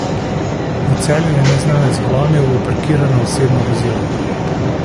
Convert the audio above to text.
V Celju je neznanec vlomil v parkirano osebno vozilo.